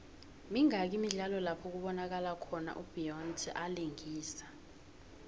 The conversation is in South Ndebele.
mingaki imidlalo lapho kubonakalo khona u beyonce alingisa